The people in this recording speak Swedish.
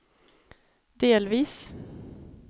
delvis